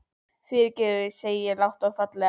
Fyrirgefðu, segi ég lágt og fallega.